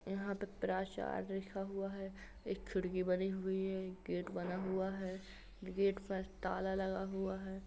यहां पर प्राचार्य लिखा हुआ है एक खिड़की बनी हुई है एक गेट बना हुआ है गेट पर ताला लगा हुआ है।